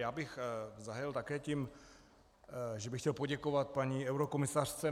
Já bych zahájil také tím, že bych chtěl poděkovat paní eurokomisařce.